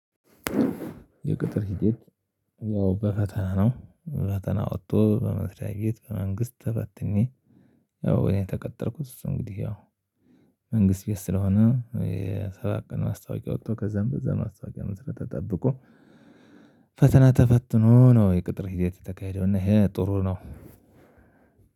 የቅጥር ሂደት ያው በፈተና ነው ፈተና ወጥቶ በመስሪያ ቤት በመንግስት ተፈትኜ። ያው እኔ የተቀጠርኩት እንግዲህ ያው መንግስት ቤት ስለሆነ የስራ ቀን ማስታወቂያ ወጥቶ ከዛም በዛ ማስታወቂያ መሰረት ተጠብቆ ፈተና ተፈትኖ ነው። የቅጥር ሂደት የተካሄደው እና ይሄ ጥሩ ነው።